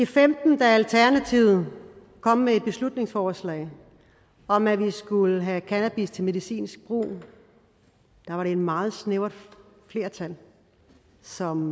femten da alternativet kom med et beslutningsforslag om at vi skulle have cannabis til medicinsk brug var det et meget snævert flertal som